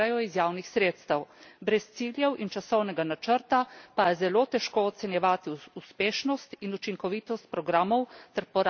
Brez ciljev in časovnega načrta pa je zelo težko ocenjevati uspešnost in učinkovitost programov ter porabo javnih sredstev.